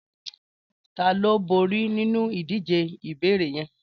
Tàló bóri ninú idijé ìbééré yèn?